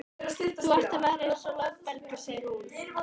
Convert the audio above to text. Þú ert að verða eins og loftbelgur, segir hún.